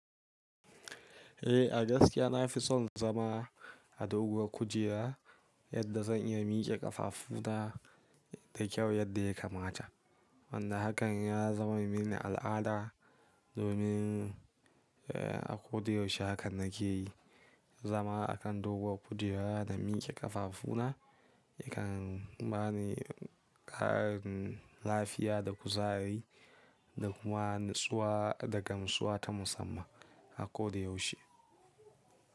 Eh, a gaskiya na fi son zama a doguwar kujera yadda zan iya miƙe ƙafafu na da kyau yadda ya kamata. Wanda hakan ya zama mini al'ada domin a ko da yaushe haka nake yi, zama a kan doguwar kujera da miƙe ƙafafu na yakan bani ƙarin lafiya da kuzari da kuma natsuwa daga natsuwa ta musamman a koda yaushe.